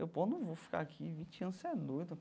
Eu, pô, não vou ficar aqui vinte anos, você é doido.